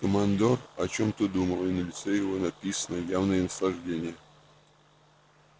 командор о чём-то думал и на лице его было написано явное наслаждение